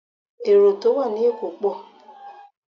Èrò tó wà ní èkó pọ̀